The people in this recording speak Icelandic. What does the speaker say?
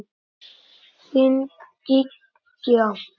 Þín Gígja.